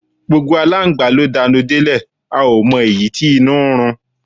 Gbógbó àlángba lo danú delẹ, a o mo eyi tí inú rún